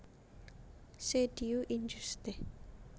Ce Dieu injuste